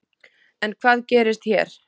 En hvað gerist hér?